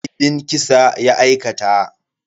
Laifin kisa ya aikata.